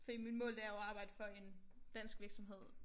Fordi mit mål det er jo at arbejde for en dansk virksomhed